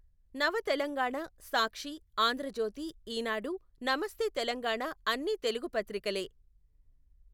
నవ తెలంగాణ, సాక్షి, ఆంధ్రజ్యోతి, ఈనాడు, నమస్తే తెలంగాణ అన్నీ తెలుగు పత్రికలే.